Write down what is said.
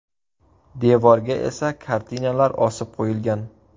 Devorga esa kartinalar osib qo‘yilgan.